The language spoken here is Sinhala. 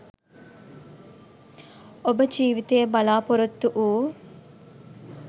ඔබ ජීවිතයේ බලාපොරොත්තු වූ